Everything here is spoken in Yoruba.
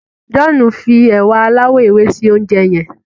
John fí ewa aláwò ewe sí oúnjẹ yén.